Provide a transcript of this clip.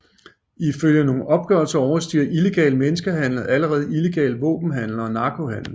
Ifølge nogle opgørelser overstiger illegal menneskehandel allerede illegal våbenhandel og narkohandel